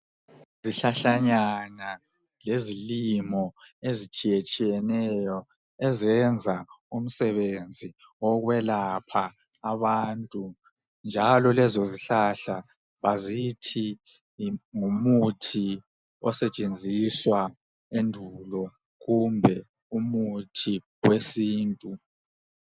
Izihlahlanyana lezilimo ezitshiyatshiyeneyo ezenza umsebenzi okwelapha abantu njalo lezo zihlahla azitshi ngomuthi osetshenziswa endulo kumbe umuthi wesintu.